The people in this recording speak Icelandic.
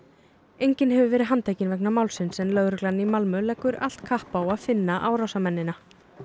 enginn hefur verið handtekinn vegna málsins en lögreglan í Malmö leggur allt kapp á að finna árásarmennina